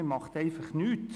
Man tut einfach nichts.